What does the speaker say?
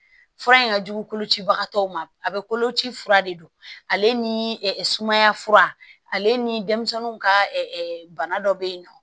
Fura in ka jugu kolocibagatɔw ma a bɛ koloci fura de don ale ni sumaya fura ale ni denmisɛnnu ka bana dɔ bɛ yen nɔ